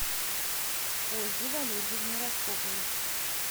ольге валерьевне распоповой